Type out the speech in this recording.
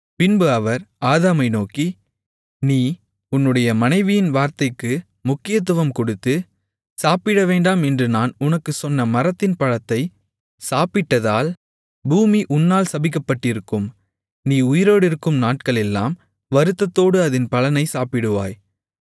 பின்பு அவர் ஆதாமை நோக்கி நீ உன்னுடைய மனைவியின் வார்த்தைக்கு முக்கியத்துவம் கொடுத்து சாப்பிடவேண்டாம் என்று நான் உனக்குச் சொன்ன மரத்தின் பழத்தை சாப்பிட்டதால் பூமி உன்னால் சபிக்கப்பட்டிருக்கும் நீ உயிரோடிருக்கும் நாட்களெல்லாம் வருத்தத்தோடு அதின் பலனைச் சாப்பிடுவாய்